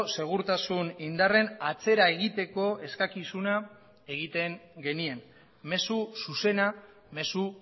segurtasun indarren atzera egiteko eskakizuna egiten genien mezu zuzena mezu